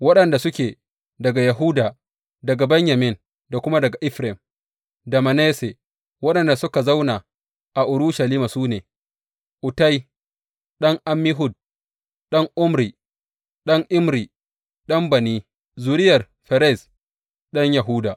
Waɗanda suke daga Yahuda, daga Benyamin, da kuma daga Efraim da Manasse waɗanda suka zauna a Urushalima su ne, Uttai ɗan Ammihud, ɗan Omri, ɗan Imri, ɗan Bani, zuriyar Ferez ɗan Yahuda.